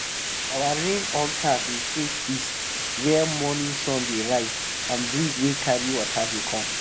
when birds dey fly round during chant e mean say rain go soon fall.